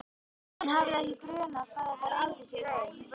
Hann hafði ekki grunað hvað þetta reynist í raun vonlaust.